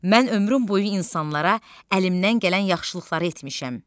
Mən ömrüm boyu insanlara əlimdən gələn yaxşılıqları etmişəm.